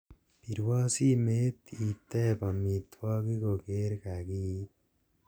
pirwon simeet iteeb omitwogik kogeer kagiit